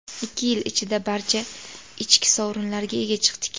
Ikki yil ichida barcha ichki sovrinlarga ega chiqdik.